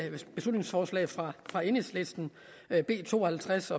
beslutningsforslag fra fra enhedslisten b to og halvtreds